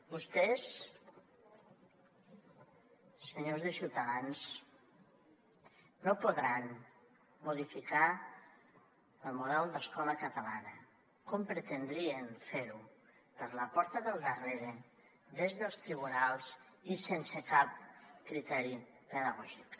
vostès senyors de ciutadans no podran modificar el model d’escola catalana com pretendrien fer ho per la porta del darrere des dels tribunals i sense cap criteri pedagògic